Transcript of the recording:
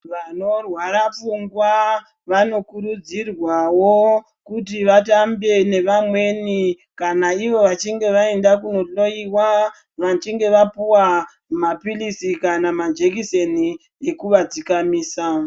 Vanorwara pfungwa vanokurudzirwawo kuti vatambe nevamweni kana ivo vachinge vaenda kunohloiwa ,vachinge vapuwa maphirizi kana majekiseni ekuvadzikamisa.